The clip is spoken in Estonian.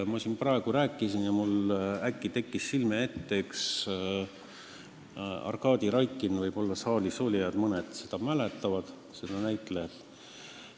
Ma siin praegu rääkisin ja mulle kerkis äkki silme ette Arkadi Raikin, võib-olla mõni saalis olija mäletab seda näitlejat.